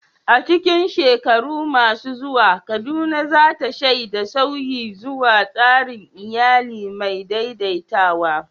A cikin shekaru masu zuwa, Kaduna za ta shaidi sauyi zuwa tsarin iyali mai daidaitawa.